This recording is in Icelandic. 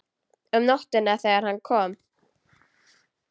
Um nóttina þegar hann kom.